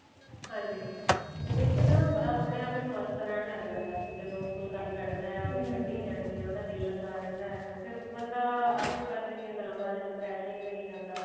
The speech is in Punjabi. ਹਾਂਜੀ ਇਹਦੇ ਨਾ ਆਪਣੇ ਆਪ ਹੀ ਮਸਤ ਰਹਿਣ ਲੱਗ ਜਾਂਦਾ ਵੀ ਜਦੋਂ ਫੁਲਕਾਰੀ ਕੱਢੀ ਜਾਣੀ ਹੈ ਉਹਦਾ ਦਿਲ ਲੱਗਾ ਰਹਿੰਦਾ ਫਿਰ ਬੰਦਾ ਆਸੇ ਪਾਸੇ ਦੀਆਂ ਗੱਲਾਂ ਬਾਰੇ depression ਚ ਨੀ ਜਾਂਦਾ